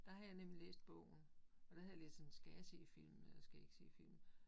Der havde jeg nemlig læst bogen, og der havde jeg læst sådan, skal jeg se filmene eller skal jeg ikke se filmen